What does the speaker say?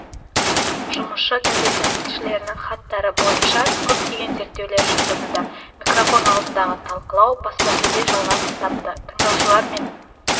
жұмысшы газеті тілшілерінің хаттары бойынша көптеген зерттеулер жүргізілді микрофон алдындағы талқылау баспасөзде жалғасын тапты тыңдаушылар мен